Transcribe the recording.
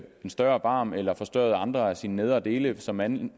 en større barm eller forstørret andre af sine nedre dele som mand